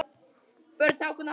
Börn: Hákon og Harpa.